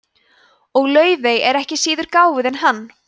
og laufey er ekki síður gáfuð en hann